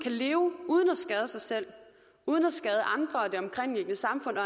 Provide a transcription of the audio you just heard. leve uden at skade sig selv uden at skade andre og det omkringliggende samfund